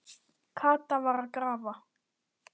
Kata var að grafa.